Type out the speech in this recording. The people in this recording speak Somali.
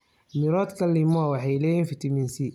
Miroodhka limao waxay leeyihiin fitamiin C badan.